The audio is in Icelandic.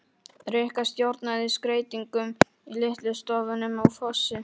Rikka stjórnaði skreytingum í litlu stofunum á Fossi.